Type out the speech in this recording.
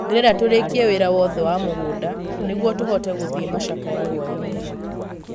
Ndĩrenda tũrĩkie wĩra wothe wa mũgũnda . Nĩguo tũhote gũthie macakaya hwainĩ.